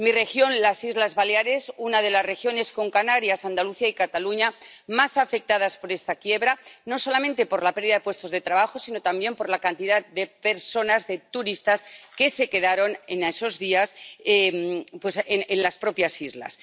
Mi región, las Islas Baleares, es una de las regiones —con Canarias, Andalucía y Cataluña— más afectadas por esta quiebra, no solamente por la pérdida de puestos de trabajo, sino también por la cantidad de personas, de turistas, que se quedaron en esos días en las propias islas.